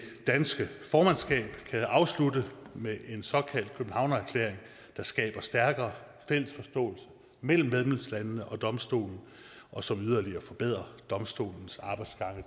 danske formandskab kan afslutte med en såkaldt københavnererklæring der skaber stærkere fælles forståelse mellem medlemslandene og domstolen og som yderligere forbedrer domstolens arbejdsgange